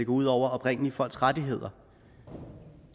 ud over oprindelige folks rettigheder